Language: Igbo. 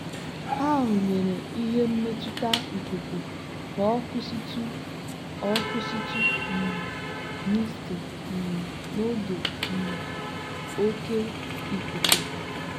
ha rụnyere ihe mmetụta ikuku ka ọ kwụsịtụ ọ kwụsịtụ um misting um n'oge um oke ikuku.